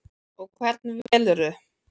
Og hvern velurðu?